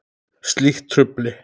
Slíkt trufli.